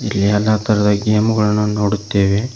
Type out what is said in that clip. ಇಲ್ಲಿ ಎಲ್ಲಾ ತರಹದ ಗೇಮ್ ಗಳನ್ನು ನೋಡುತ್ತೇವೆ.